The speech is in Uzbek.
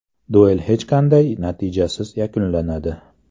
Duel hech qanday natijasiz yakunlanadi.